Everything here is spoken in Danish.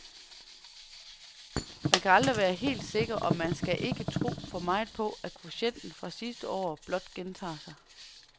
Men man kan aldrig være helt sikker, og man skal ikke tro for meget på, at kvotienten fra sidste år blot gentager sig.